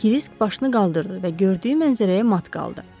Krisk başını qaldırdı və gördüyü mənzərəyə mat qaldı.